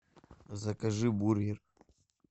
закажи бургер